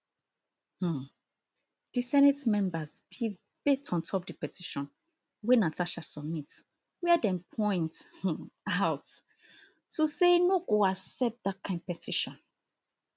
um di senate members debate ontop di petition wey natasha submit wia dem point um out to say no go accept dat kain petition